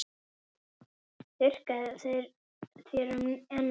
Þurrkar þér um ennið.